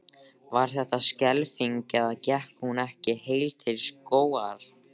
Var þetta skelfing eða gekk hún ekki heil til skógar?